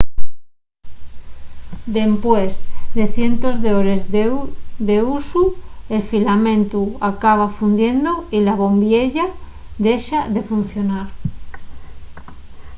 dempués de cientos d'hores d'usu el filamentu acaba fundiendo y la bombiella dexa de funcionar